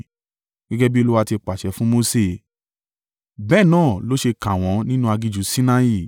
gẹ́gẹ́ bí Olúwa ti pàṣẹ fún Mose. Bẹ́ẹ̀ náà ló ṣe kà wọ́n nínú aginjù Sinai.